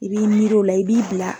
I b'i miiri o la i b'i bila